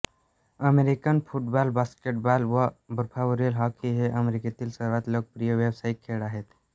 American football basketball व बर्फावरील hockey हे अमेरिकेतील सर्वांत लोकप्रिय व्यावसायिक खेळ आहेत